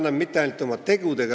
Kolm minutit lisaaega.